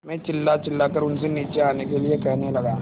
मैं चिल्लाचिल्लाकर उनसे नीचे आने के लिए कहने लगा